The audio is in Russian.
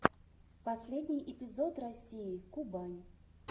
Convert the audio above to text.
последний эпизод россии кубань